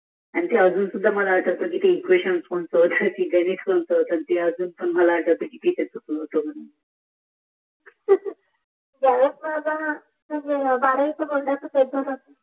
ते अजून सुद्धा मला आठवते ते एक्वेशन कोणत होत ते गणित कोणत होत ते अजून पण मला आठवते पिसिअस कुठल होत